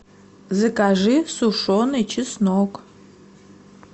закажи сушеный чеснок